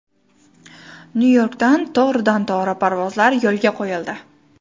Nyu-Yorkka to‘g‘ridan-to‘g‘ri parvozlar yo‘lga qo‘yildi.